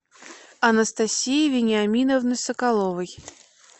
анастасии вениаминовны соколовой